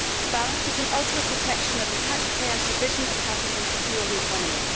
balance between ultimate protection of the taxpayer and provision of capital to fuel the economy.